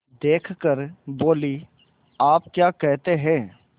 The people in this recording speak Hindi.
देख कर बोलीआप क्या कहते हैं